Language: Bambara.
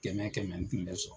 Kɛmɛ kɛmɛ n kun bɛ sɔn